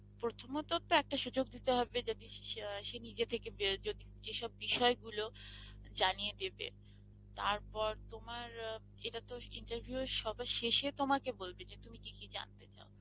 প্রথমত তো একটা সুযোগ দিতে হবে যাতে সে~ সে~ সে নিজে থেকে বে~ যদি যে সব বিষয় গুলো জানিয়ে দেবে তারপর তোমার এটা তো interview এর সবার শেষে তোমাকে বলবে, যে তুমি কি কি জানতে চাও